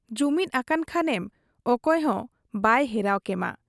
ᱡᱩᱢᱤᱫ ᱟᱠᱟᱱ ᱠᱷᱟᱱᱮᱢᱚᱠᱚᱭ ᱦᱚᱸ ᱵᱟᱭ ᱦᱮᱨᱟᱣ ᱠᱮᱢᱟ ᱾